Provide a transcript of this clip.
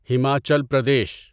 Himachal Pradesh